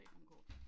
Se nogen kort